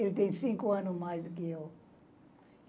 Ele tem cinco anos mais do que eu.